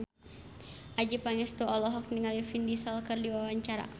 Adjie Pangestu olohok ningali Vin Diesel keur diwawancara